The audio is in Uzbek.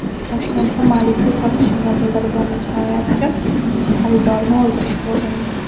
Toshkentda Malibu sotishini bildirgan jinoyatchi xaridorni o‘ldirishga urindi.